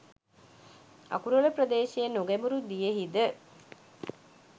අකුරල ප්‍රදේශයේ නොගැඹුරු දියෙහිද